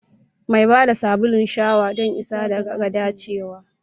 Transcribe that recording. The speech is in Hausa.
Mai ba da sabulun shawa don isa ga dacewa.